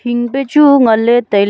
hing pe chu ngan ley tailey.